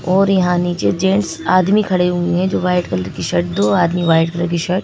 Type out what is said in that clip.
और यहां नीचे जेंट्स आदमी खड़े हुए हैं जो वाइट कलर की शर्ट दो आदमी वाइट कलर की शर्ट --